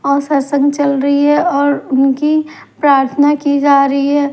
और सत्संग चल रही है और उनकी प्रार्थना की जा रही है।